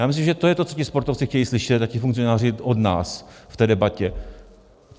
Já myslím, že to je to, co ti sportovci chtějí slyšet, a ti funkcionáři, od nás v té debatě.